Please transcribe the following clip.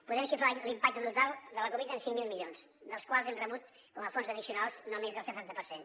podem xifrar l’impacte total de la covid en cinc mil milions dels quals hem rebut com a fonts addicionals no més del setanta per cent